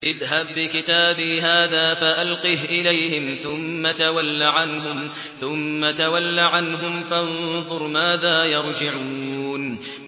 اذْهَب بِّكِتَابِي هَٰذَا فَأَلْقِهْ إِلَيْهِمْ ثُمَّ تَوَلَّ عَنْهُمْ فَانظُرْ مَاذَا يَرْجِعُونَ